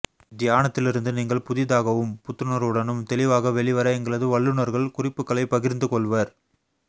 தியானத்திலிருந்து நீங்கள் புதிதாகவும் புத்துணர்வுடனும் தெளிவாக வெளிவர எங்களது வல்லுனர்கள் குறிப்புக்களைப் பகிர்ந்து கொள்வர்